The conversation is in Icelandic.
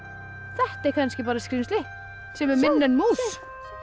þetta er kannski bara skrímsli sem er minna en mús